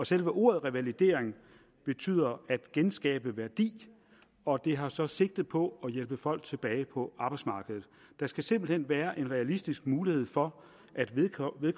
selve ordet revalidering betyder at genskabe værdi og det har så sigte på at hjælpe folk tilbage på arbejdsmarkedet der skal simpelt hen være en realistisk mulighed for at vedkommende